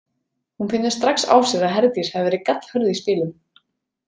Hún finnur strax á sér að Herdís hafi verið gallhörð í spilum.